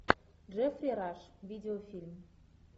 джеффри раш видеофильм